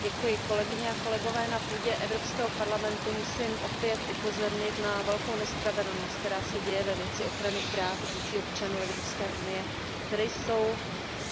Paní předsedající, na půdě Evropského parlamentu musím opět upozornit na velkou nespravedlnost, která se děje ve věci ochrany práv dětí, občanů Evropské unie, které jsou